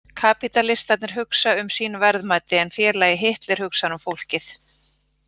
Kapítalistarnir hugsa um sín verðmæti, en félagi Hitler hugsar um fólkið.